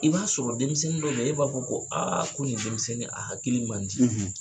I b'a sɔrɔ denmisɛnnin dɔ e b'a fɔ ko aa ko nin denmisɛnnin, a hakiliki mandi